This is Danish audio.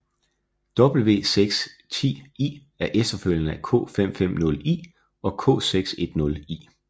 W610i er efterfølgeren af K550i og K610i